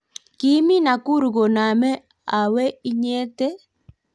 kiimi Nakuru koname awe inyete?